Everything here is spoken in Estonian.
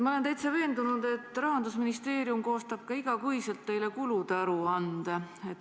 Ma olen täitsa veendunud, et Rahandusministeerium koostab ka iga kuu teile kulude aruande.